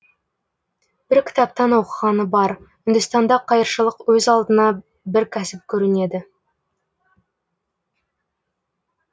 бір кітаптан оқығаны бар үндістанда қайыршылық өз алдына бір кәсіп көрінеді